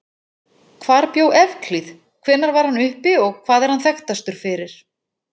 Hvar bjó Evklíð, hvenær var hann uppi og hvað er hann þekktastur fyrir?